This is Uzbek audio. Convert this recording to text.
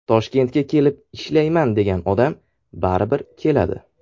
Toshkentga kelib ishlayman degan odam baribir keladi.